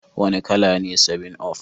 Wane kala ne 7up?